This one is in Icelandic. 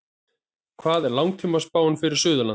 hver er langtímaspáin fyrir suðurland